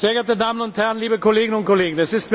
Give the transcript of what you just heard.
geehrte Damen und Herren, liebe Kolleginnen und Kollegen!